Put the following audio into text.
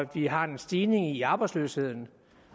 vi har en stigning i arbejdsløsheden